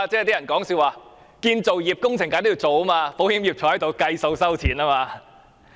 有人笑稱，建造業工程當然要做，保險業可坐着收錢。